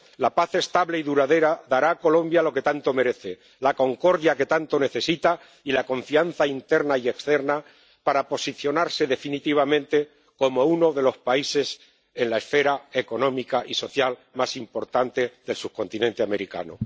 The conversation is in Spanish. La paz estable y duradera dará a Colombia lo que tanto merece, la concordia que tanto necesita y la confianza interna y externa para posicionarse definitivamente como uno de los países en la esfera económica y social más importante del subcontinente americano.